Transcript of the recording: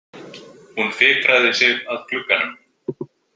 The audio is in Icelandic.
Hún fikraði sig að glugganum.